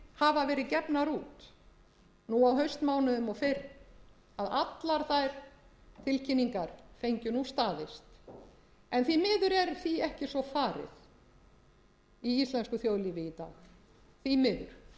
hafa verið gefnar út nú á haustmánuðum og fyrr fengju nú staðist en því miður er því ekki svo farið í íslensku þjóðlífi í dag því miður en